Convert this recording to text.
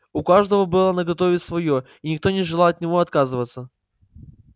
у каждого было наготове своё и никто не желал от него отказываться